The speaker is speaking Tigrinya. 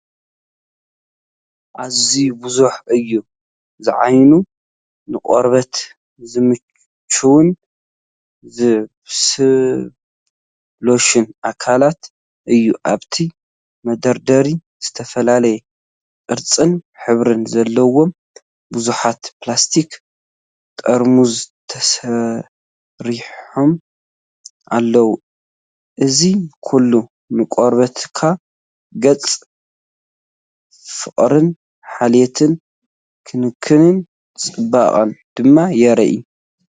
ኣዝዩ ብዙሕ ዕዮ ዝዓዪን ንቆርበት ዝምችውን ስብስብ ሎሽን ኣካላት እዩ፡፡ ኣብቲ መደርደሪ ዝተፈላለየ ቅርጽን ሕብርን ዘለዎም ብዙሓት ፕላስቲክ ጥርሙዝ ተሰሪዖም ኣለዉ። እዚ ኩሉ ንቆርበትካ ገለ ፍቕርን ሓልዮትን ክንክን ፅባቐን ድማ የርኢ፡፡